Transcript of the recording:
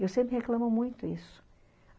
Eu sempre reclamo muito isso.